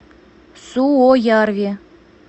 суоярви